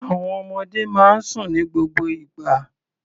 Àwọn ọmọdé máa ń sùn ní gbogbo ìgbà.